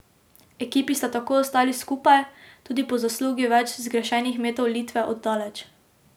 Ekipi sta tako ostali skupaj, tudi po zaslugi več zgrešenih metov Litve od daleč.